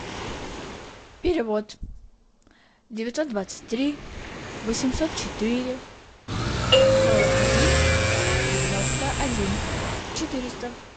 перевод девятьсот двадцать три восемьсот четыре сорок один девяносто один четыреста